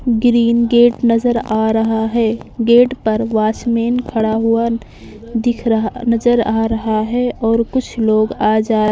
green gate नजर आ रहा हैं गेट पर वाचमैन खड़ा हुआ दिख रहा नजर आ रहा हैं और कुछ लोग आ जा --